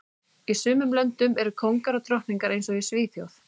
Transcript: Í sumum löndum eru kóngar og drottningar eins og í Svíþjóð